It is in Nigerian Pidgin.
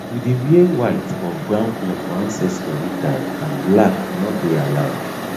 we dey wear white or brown cloth for ancestor ritered and black no dey allowed